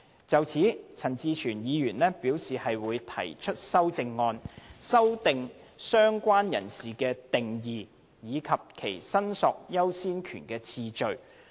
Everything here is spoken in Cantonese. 就此，陳志全議員表示會考慮提出修正案，修訂"相關人士"的定義，以及其申索優先權的次序。